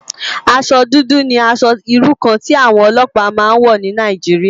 Aṣò dùdù ni ãṣò irú kàn ti áwòn òlòpá má n wò ni Nàijiriá